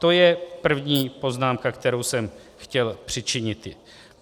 To je první poznámka, kterou jsem chtěl přičiniti.